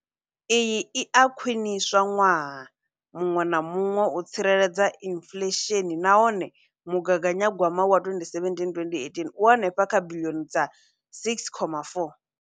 Iyi i a khwiniswa ṅwaha muṅwe na muṅwe u tsireledza inflesheni nahone mugaganywa gwama wa 2017,2018 u henefha kha biḽioni dza R6.4.